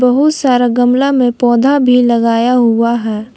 बहुत सारा गमला में पौधा भी लगाया हुआ है।